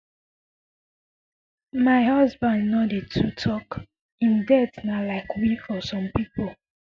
my husband no dey too um tok im death um na like win for some pipo